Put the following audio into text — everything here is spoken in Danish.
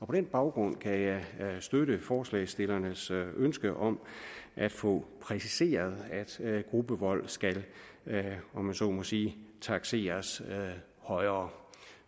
den baggrund kan jeg støtte forslagsstillernes ønske om at få præciseret at gruppevold skal om jeg så må sige takseres højere